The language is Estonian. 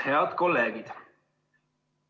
Head kolleegid!